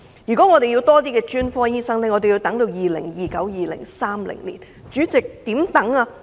如果要更多專科醫生，更要等至 2029-2030 年度。